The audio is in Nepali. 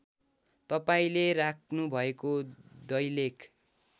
तपाईँले राख्नुभएको दैलेख